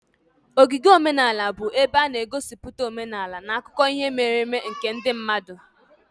Ogige omenala bụ ebe a na-egosipụta omenala na akụkọ ihe mere eme nke ndị mmadụ.